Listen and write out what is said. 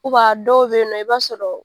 dɔw beyinɔ i b'a sɔrɔ.